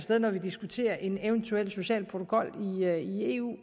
der når vi diskuterer en eventuel social protokol i eu